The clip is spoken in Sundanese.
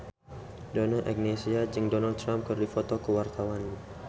Donna Agnesia jeung Donald Trump keur dipoto ku wartawan